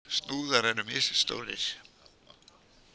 Snúðar eru misstórir.